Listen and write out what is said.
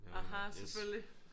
Aha selvfølgelig